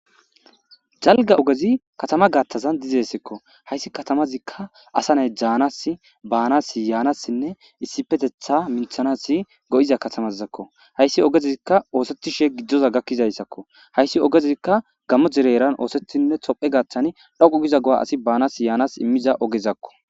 jalga ogezi katama gaattazan dizessekko hayssi katamazikka asane jaanas baanas yaanassinne issipetetha minthanasi go7iza katamazakko hayssi ogezikka oosethishe giddoza gakkizayssakko hayssi ogezikka gamo jereeran oosethinne tophe gaaththani dhaqu giza go7a asi baanas yaanas immiza ogezakko